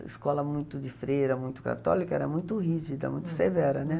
A escola muito de freira, muito católica, era muito rígida, muito severa, né?